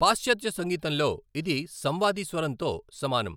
పాశ్చాత్య సంగీతంలో, ఇది సంవాది స్వరంతో సమానం.